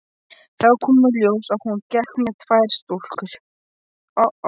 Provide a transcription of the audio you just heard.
Þá kom í ljós að hún gekk með tvær stúlkur.